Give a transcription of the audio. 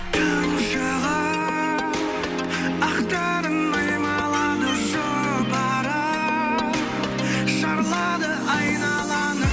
түн шығып ақтарын аймалады жұпары шарлады айналаны